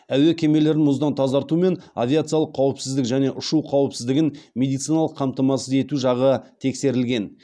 әуе кемелерін мұздан тазарту мен авиациялық қауіпсіздік және ұшу қауіпсіздігін медициналық қамтамасыз ету жағы тексерілген